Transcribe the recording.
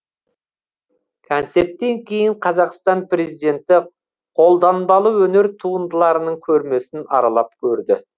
концерттен кейін қазақстан президенті қолданбалы өнер туындыларының көрмесін аралап көрді